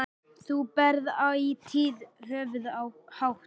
Þú berð ætíð höfuð hátt.